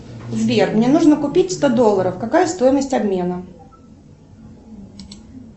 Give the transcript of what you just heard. сбер мне нужно купить сто долларов какая стоимость обмена